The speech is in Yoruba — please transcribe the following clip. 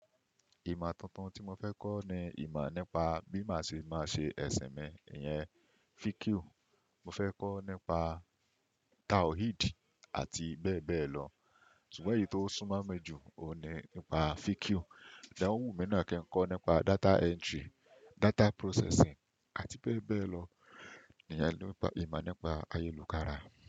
Ìmọ tuntun tí mo fẹ́ kọ́ ni ìmá nípa bí má ṣe máa ṣe ẹsin mi, ìyẹn fikiu. Mo fẹ́ kọ́ nípa Taoheed àti bẹ́ẹ̀ bẹ́ẹ̀ lọ. Ṣugbọn eyìí tó súnmọ́ mi jù, òun ni nípa fikiu. Ìdáhùn mi náà kí n kọ́ nípa data entry, data processing àti bẹ́ẹ̀ bẹ́ẹ̀ lọ. Ìyẹn ni ìmọ nípa ayélujára.